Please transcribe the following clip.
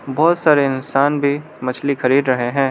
बहोत सारे इंसान भी मछली खरीद रहे हैं।